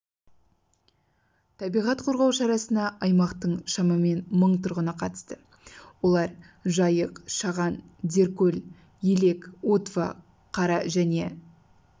табиғат қорғау шарасына аймақтың шамамен мың тұрғыны қатысты олар жайық шаған деркөл елек утва қара және